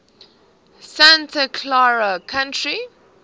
santa clara county